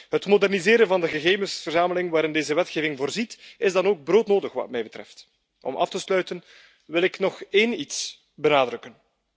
Het moderniseren van de gegevensverzameling waarin deze wetgeving voorziet, is dan ook broodnodig wat mij betreft. Om af te sluiten wil ik nog één ding benadrukken.